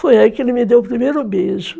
Foi aí que ele me deu o primeiro beijo.